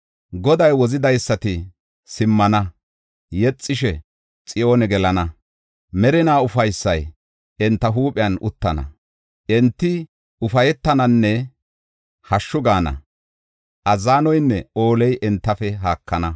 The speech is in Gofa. Goday wozidaysati simmana; yexish, Xiyoone gelana; merinaa ufaysay enta huuphiyan uttana. Enti ufaytananne hashshu gaana; azzanoynne ooley entafe haakana.